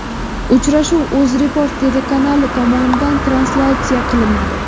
Uchrashuv UzReport telekanali tomonidan translyatsiya qilinadi.